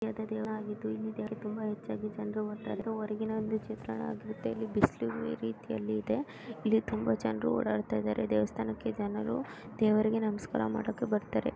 ಇದು ದೇವಾ ಆಗಿದ್ದು. ಇಲ್ಲಿ ದೇವಕ್ಕೆ ತುಂಬಾ ಹೆಚ್ಚಾಗಿ ಜನರು ಬರುತಾರೆ. ಆದರು ಹೊರಗಿನ ಒಂದು ಚಿತ್ರಾನ್ನವಾಗಿರುತ್ತೆ. ಇಲ್ಲಿ ಬಿಸಿಲು ರೀತಿ ಇದೆ. ಇಲ್ಲಿ ತುಂಬ ಜನರು ಓಡಾಡುತಿದರೆ ದೇವಸಥನಕ್ಕೆ ಜನರು. ದೇವರಿಗೆ ನಮಸ್ಕಾರ ಮಾಡಕ್ಕೆ ಬರತಾರೆ.